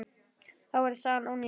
Þá væri sagan ónýt.